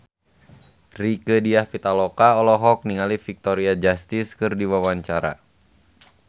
Rieke Diah Pitaloka olohok ningali Victoria Justice keur diwawancara